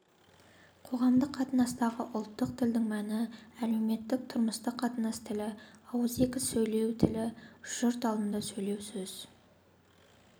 қоғамдық қатынастағы ұлттық тілдің мәні әлеуметтік-тұрмыстық қатынас тілі ауызекі сөйлеу тілі жұрт алдында сөйлеу сөз